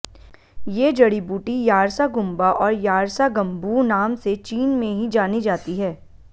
ये जड़ी बूटी यार्सागुम्बा और यारसागम्बू नाम से चीन में ही जानी जाती है